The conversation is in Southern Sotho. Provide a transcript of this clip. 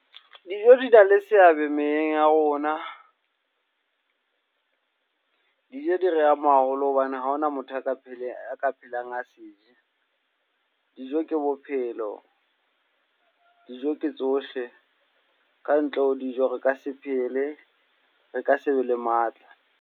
Dijo di na le seabe meyeng ya rona. Dijo di re ama haholo hobane ha hona motho a ka a ka phelang a se je. Dijo ke bophelo, dijo ke tsohle. Kantle ho dijo, re ka se phele, re ka sebe le matla.